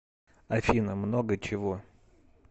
афина много чего